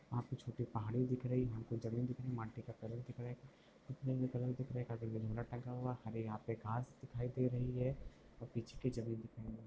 वहा पे छोटी पहाड़ी दिख रही है| हम को जमीन दिख रही है| माटी का कलर दिख रहा है| हरे यहाँ पर घास दिखाई दे रही है| पीछे की जमीन दिखाई दे--